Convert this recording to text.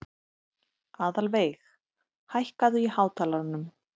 Aðalveig, hækkaðu í hátalaranum.